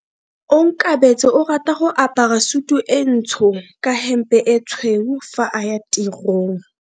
Onkabetse o rata go apara sutu e ntsho ka hempe e tshweu fa a ya tirong.